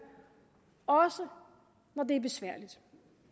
også når det er besværligt